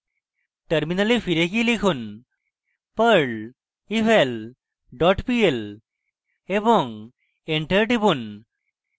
terminal ফিরে গিয়ে লিখুন: perl eval pl এবং enter টিপুন